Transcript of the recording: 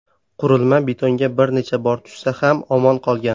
Qurilma betonga bir necha bor tushsa ham omon qolgan .